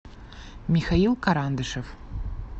михаил карандышев